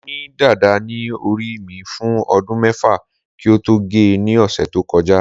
mo ni dada ni ori mi fun odun mefa ki n to ge ni ose to koja